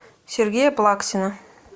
сергея плаксина